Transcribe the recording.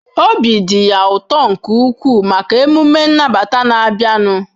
Obi dị ya ụtọ nke ukwuu maka emume nnabata na-abịanụ.